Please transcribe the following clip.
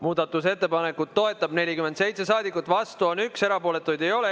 Muudatusettepanekut toetab 47 saadikut, vastu on 1, erapooletuid ei ole.